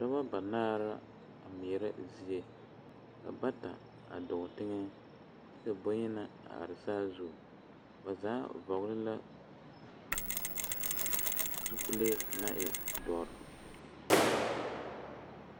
Noba banaare la a ŋmeɛrɛ zie ka bata a dɔɔ teŋa kyɛ ka boyenaa a are saazu ba zaa vɔgele la zupile na e dɔre